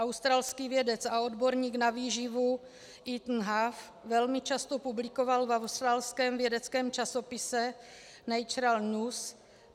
Australský vědec a odborník na výživu Ethan Huff velmi často publikoval v australském vědeckém časopise Natural News.